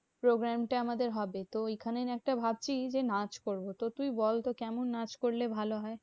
Programme টা আমাদের হবে। তো ঐখানে একটা ভাবছি যে, নাচ করবো। তো তুই বলতো কেমন নাচ করলে ভালো হয়?